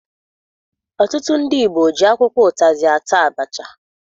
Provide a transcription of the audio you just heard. Ọtụtụ ndị Igbo ji akwụkwọ ụtazị ata abacha.